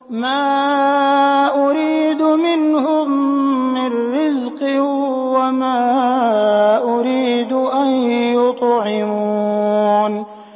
مَا أُرِيدُ مِنْهُم مِّن رِّزْقٍ وَمَا أُرِيدُ أَن يُطْعِمُونِ